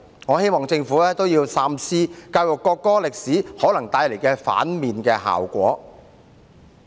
我希望政府三思教育國歌歷史可能帶來的負面效果。